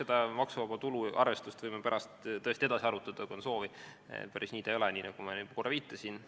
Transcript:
Jah, maksuvaba tulu arvestust võime pärast tõesti edasi arutada, kui on soovi, sest päris nii see ei ole, nagu ma juba korra viitasin.